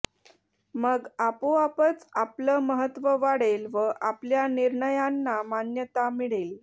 मग आपोआपच आपलं महत्त्व वाढेल व आपल्या निर्णयांना मान्यता मिळेल